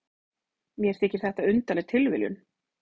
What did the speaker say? Mér þykir þetta undarleg tilviljun.